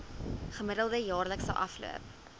gemiddelde jaarlikse afloop